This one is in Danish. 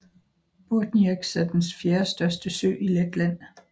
Burtnieks er den fjerdestørste sø i Letland